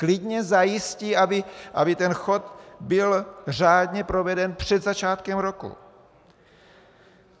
Klidně zajistí, aby ten chod byl řádně proveden před začátkem roku.